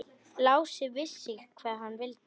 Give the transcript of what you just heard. Lási vissi hvað hann vildi.